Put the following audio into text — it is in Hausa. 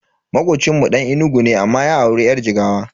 Makocinmu Dan Enugu ne amma ya auri yar Jigawa.